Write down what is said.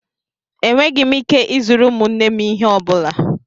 Enweghị m ike ịzụrụ ụmụnne m ihe ọ bụla.